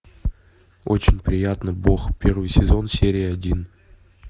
очень приятно бог первый сезон серия один